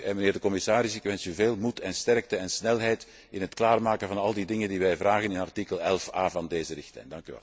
Mijnheer de commissaris, ik wens u veel moed, sterkte en snelheid bij het klaarmaken van al die dingen die wij vragen in artikel 11 A van deze richtlijn.